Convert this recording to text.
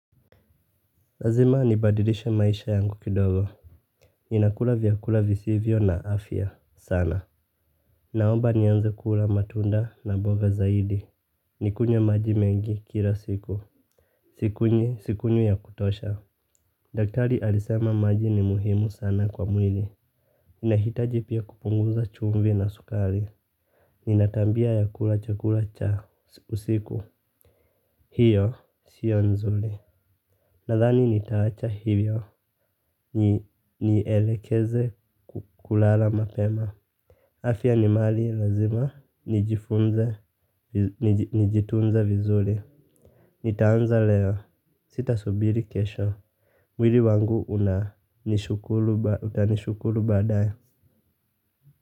Lazima nibadilishe maisha yangu kidogo. Ninakula vyakula visivyo na afya sana. Naomba nianze kula matunda na boga zaidi. Nikunywe maji mengi kila siku. Sikunywi sikunywi ya kutosha. Daktari alisema maji ni muhimu sana kwa mwili. Ninahitaji pia kupunguza chumvi na sukari. Ninatambia ya kula chakula cha usiku. Hiyo siyo nzuli. Nadhani nitaacha hivyo. Nielekeze kulala mapema. Afya ni mali lazima, nijifunze, nijitunze vizuri. Nitaanza leo, sita subiri kesho. Mwili wangu utanishukuru baadaye.